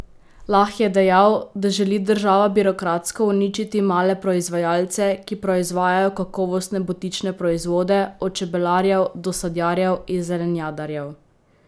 Lah je dejal, da želi država birokratsko uničiti male proizvajalce, ki proizvajajo kakovostne butične proizvode, od čebelarjev do sadjarjev in zelenjadarjev.